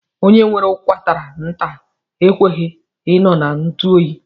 Onye nwere ụkwara nta ekweghi I nọ na ntuoyi.